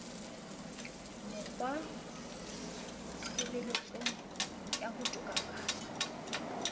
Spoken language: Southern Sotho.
mokg watshebetsong wa ho tokafatsa